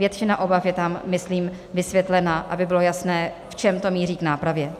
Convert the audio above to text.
Většina obav je tam, myslím, vysvětlena, aby bylo jasné, v čem to míří k nápravě.